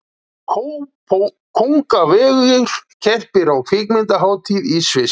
Kóngavegur keppir á kvikmyndahátíð í Sviss